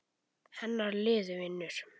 Hennar lið vinnur.